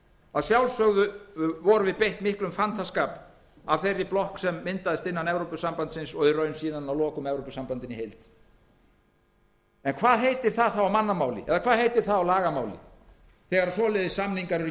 að sjálfsögðu vorum við beitt miklum fantaskap af þeirri blokk sem myndaðist innan evrópusambandsins og í raun síðan að lokum af evrópusambandinu í heild hvað heitir það á lagamáli þegar svoleiðis samningar eru gerðir þó að það